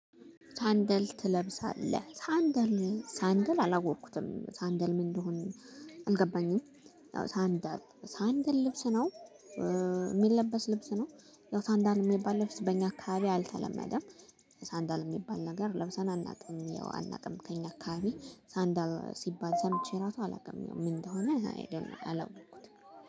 ሳንደል ትለብሳለህ ሳንደል ሳንደል አላወኩትም ሳንደል ምን እንደሆነ አልገባኝም? ያው ሳንደል ሳንድ ልብስ ነው። የሚለበስ ልብስ ነው ያው ሳንደል የሚባል ልብስ በእኛ አካባቢ አልተለመደም። ሳንደር የሚባል ነገር ለብሰን አናውቅም ያው አናውቅም ከእኛ አካባቢ ሳንደር ሲባል ሰምቼ ራሱ አላውቅም። ምን እንደሆነ? አላወቅኩትም